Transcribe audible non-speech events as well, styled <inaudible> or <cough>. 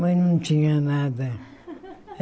Mas não tinha nada. <laughs>